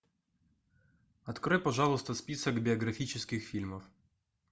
открой пожалуйста список биографических фильмов